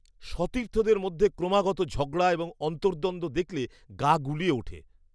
সতীর্থদের মধ্যে ক্রমাগত ঝগড়া এবং অন্তর্দ্বন্দ্ব দেখলে গা গুলিয়ে ওঠে।